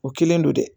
O kelen don dɛ